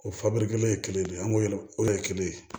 O fabiri kelen ye kelen de ye an k'o yɛlɛma o de ye kelen ye